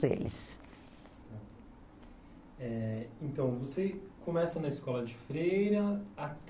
Eh então, você começa na escola de Freira até